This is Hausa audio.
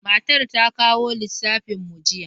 Matar ta kawo lissafin mu jiya.